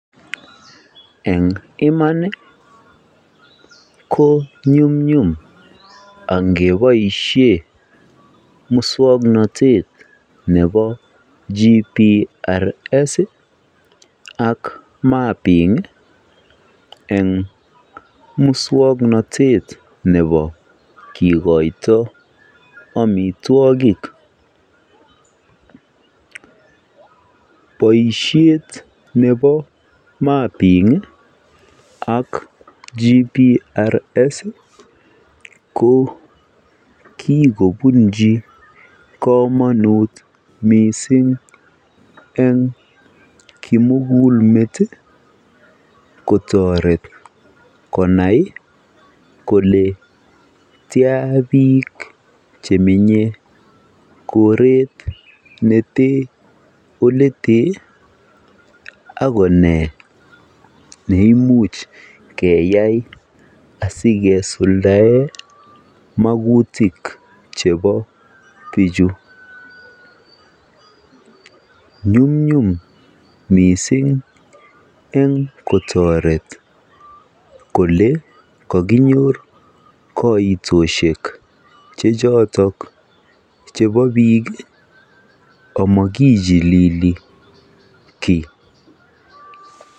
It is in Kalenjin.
Eng iman ko nyumnyum angeboisien muswoknotet nebo GPS ak Mapping eng' muswoknotetab kasari kikoito amitwogik ,Boisiet nebo mapping ak GPS ii koo kikobunji kamonut missing eng kimugulmet ii kotoret konai kole tian biik chemenye koret netee oletee akonee neimuch keyai asikesuldaen makutik chebo bichuu nyumnyum missing eng kotoret kole kokinyor kaitosiek chechotok chebo biik amokichilili kii.